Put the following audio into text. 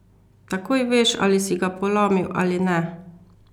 Takoj veš, ali si ga polomil ali ne!